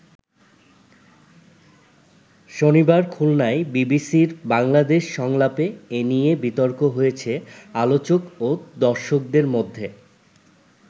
শনিবার খুলনায় বিবিসির বাংলাদেশ সংলাপে এ নিয়ে বিতর্ক হয়েছে আলোচক ও দর্শকদের মধ্যে।